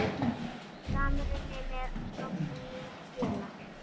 Samruni með stofnun nýs félags.